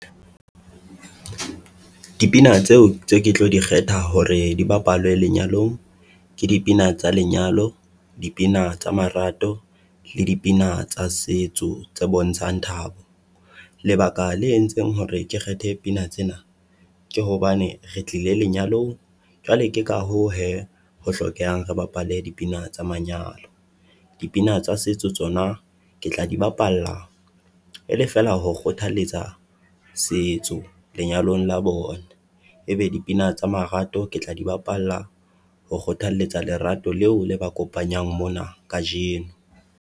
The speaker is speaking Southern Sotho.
Dipina tseo tseo ke tlo di kgetha hore di bapalwe lenyalong ke dipina tsa lenyalo, dipina tsa marato le dipina tsa setso tse bontshang thabo. Lebaka le entseng hore ke kgethe pina tsena, ke hobane re tlile lenyalong, jwale ke ka hoo hee ho hlokehang re bapale dipina tsa manyalo. Dipina tsa setso tsona ke tla di bapalla e le feela ho kgothaletsa setso lenyalong la bona, e be dipina tsa marato ke tla di bapalla ho kgothalletsa lerato leo le ba kopanyang mona kajeno.